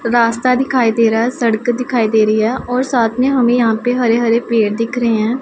रास्ता दिखाई दे रहा है सड़क दिखाई दे रही है और साथ में हमें यहां पे हरे हरे पेड़ दिख रहे हैं।